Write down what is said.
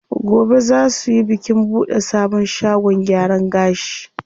Gobe zaa suyi bikin buɗe sabon shagon gyaran gashi.